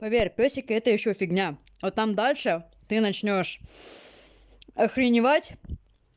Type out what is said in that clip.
поверь пёсики это ещё фигня а там дальше ты начнёшь охреневать